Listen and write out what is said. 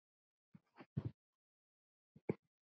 Elsku Agnar.